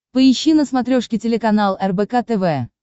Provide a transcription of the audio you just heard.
поищи на смотрешке телеканал рбк тв